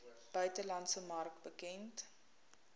buitelandse mark bekend